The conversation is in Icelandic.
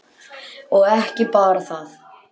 Og ekki bara það: